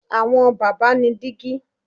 Àwọn bàbá ni dígí